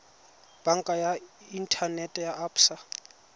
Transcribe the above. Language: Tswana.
banka ya inthanete ya absa